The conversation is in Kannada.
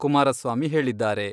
ಕುಮಾರಸ್ವಾಮಿ ಹೇಳಿದ್ದಾರೆ.